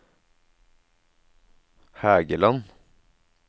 Hægeland